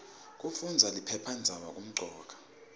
kufundaza liphephandzaba kumcoka